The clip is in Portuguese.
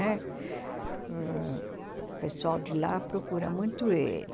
Né? Ãh o pessoal de lá procura muito ele.